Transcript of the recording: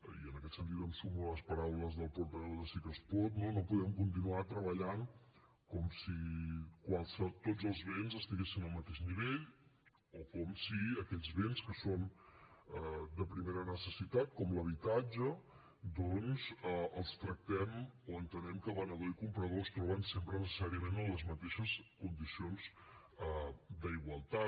i en aquest sentit em sumo a les paraules del portaveu de sí que es pot no no podem continuar treballant com si tots els béns estiguessin al mateix nivell o com si aquests béns que són de primera necessitat com l’habitatge doncs els tractem o entenem que venedor i comprador es troben sempre necessàriament en les mateixes condicions d’igualtat